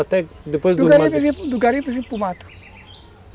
Até depois do... Do garimpo eu vim do garimpo eu vim para o mato.